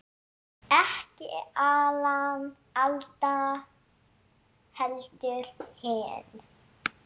Ekki Alan Alda, heldur hinn